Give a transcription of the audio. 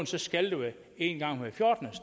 skal være en gang hver fjortende